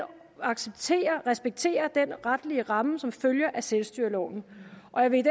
acceptere respektere den retlige ramme som følger af selvstyreloven og jeg vil